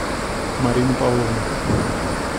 марина павловна